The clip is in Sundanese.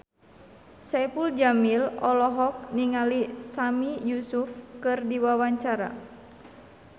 Saipul Jamil olohok ningali Sami Yusuf keur diwawancara